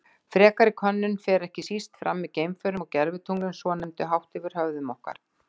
Frekari könnun fer ekki síst fram með geimförum og gervitunglunum svonefndu, hátt yfir höfðum okkar.